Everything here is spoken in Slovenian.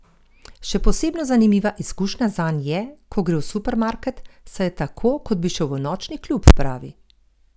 Še posebno zanimiva izkušnja zanj je, ko gre v supermarket, saj je tako, kot bi šel v nočni klub, pravi.